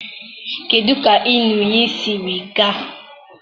kedụ ka ịn̄ụ iyi siri gaa?